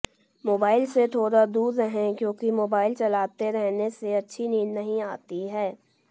mobile से थोड़ा दूर रहें क्योंकि मोबाइल चलाते रहने से अच्छी नींद नहीं आती है